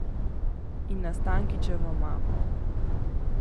In na Stankićevo mamo.